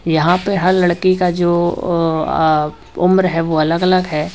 यहां पे हर लड़की का जो अ आ उम्र है वो अलग अलग है।